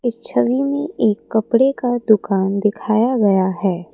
छवि में एक कपड़े का दुकान दिखाया गया है।